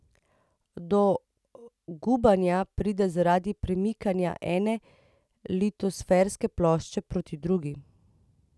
Do gubanja pride zaradi premikanja ene litosferske plošče proti drugi.